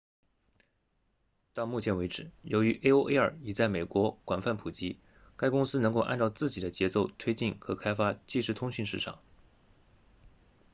到目前为止由于 aol 已在美国广泛普及该公司能够按照自己的节奏推进和开发即时通讯市场